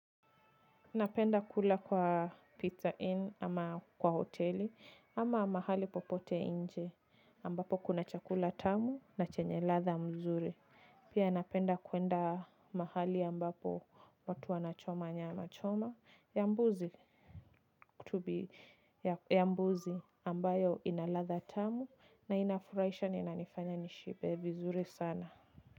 Napenda kula kwa pizza inn ama kwa hoteli ama mahali popote nje ambapo kuna chakula tamu na chenye ladha nzuri. Pia napenda kuenda mahali ambapo watu wanachoma nyama choma ya mbuzi kutubi ya mbuzi ambayo inaladha tamu na inafurahisha na inanifanya nishibe vizuri sana.